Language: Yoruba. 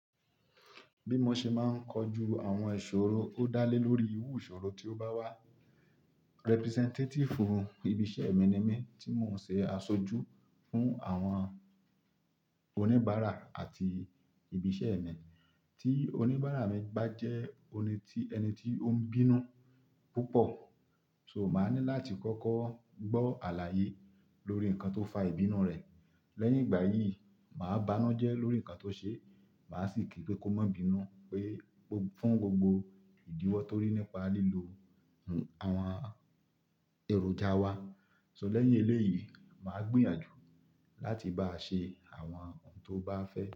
Bí mo ṣe máa ń kojú àwọn ìṣòro, ó dá lé lórí irù ìṣòro tí ó bá wá. Representative ibi iṣẹ́ mi ni mí, tí mò ń ṣe aṣojú fún àwọn oníbàárà àti ibi iṣẹ́ mi. Tí oníbàárà mi bá jẹ́ ẹni tí ó ń bínú púpọ̀, so màá ní láti kọ́kọ́ gbọ́ àlàyé lórí nǹkan tó fa ìbínú rẹ̀. Lẹ́yìn ìgbà yìí, màá banu jẹ́ lórí nǹkan tó ṣe, màá sì kí pé kó má bínú pé fún gbogbo ìdíwọ́ tó rí nípa lílo àwọn èròjà wa. So lẹ́yìn eléyìí, màá gbìyànjú láti báa ṣe àwọn ohun tó bá fẹ́.